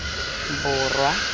borwa